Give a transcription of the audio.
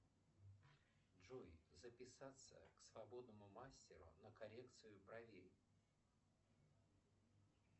джой записаться к свободному мастеру на коррекцию бровей